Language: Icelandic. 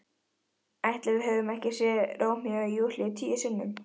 Ætli við höfum ekki séð Rómeó og Júlíu tíu sinnum?